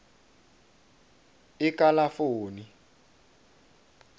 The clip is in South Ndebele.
ekalafoni